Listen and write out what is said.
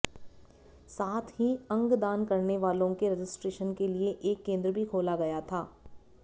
साथ ही अंगदान करनेवालो के रजिस्ट्रेशन के लिए एक केंद्र भी खोला गया था